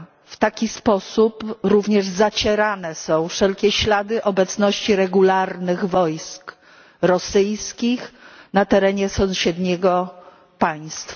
W taki sposób również zacierane są wszelkie ślady obecności regularnych wojsk rosyjskich na terenie sąsiedniego państwa.